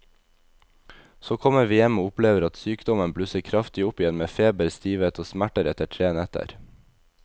Så kommer vi hjem og opplever at sykdommen blusser kraftig opp igjen med feber, stivhet og smerter etter tre netter.